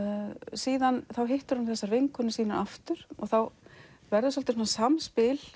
síðan þá hittir hún þessar vinkonur sínar aftur og þá verður svolítið samspil